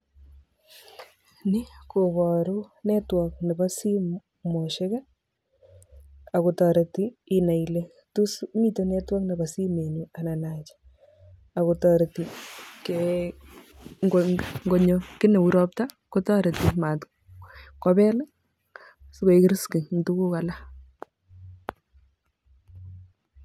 Ni koboru network nebo simosiek akotoreti inai kole tos mitei network nebo simetnyu anan acha akotoreti ngonyo kiy neu ropta kotoreti matkobel sikoek risky eng tuguk alak.